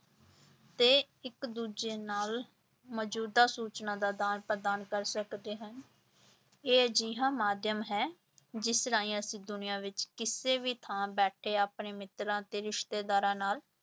ਤੇ ਇੱਕ ਦੂਜੇ ਨਾਲ ਮੌਜੂਦਾ ਸੂਚਨਾ ਦਾ ਆਦਾਨ ਪ੍ਰਦਾਨ ਕਰ ਸਕਦੇ ਹਨ, ਇਹ ਅਜਿਹਾ ਮਾਧਿਅਮ ਹੈ ਜਿਸ ਰਾਹੀਂ ਅਸੀਂ ਦੁਨੀਆਂ ਵਿੱਚ ਕਿਸੇ ਵੀ ਥਾਂ ਬੈਠੇ ਆਪਣੇ ਮਿੱਤਰਾਂ ਤੇ ਰਿਸ਼ਤੇਦਾਰਾਂ ਨਾਲ